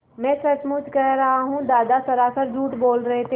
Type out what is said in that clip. मैं सचमुच कह रहा हूँ दादा सरासर झूठ बोल रहे थे